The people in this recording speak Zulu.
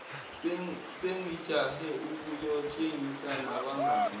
sengijahe ukuyotshengisa nabangani